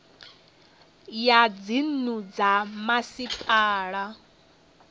ya dzinnu dza ha masipala